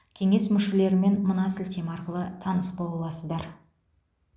кеңес мүшелерімен мына сілтеме арқылы таныс бола аласыздар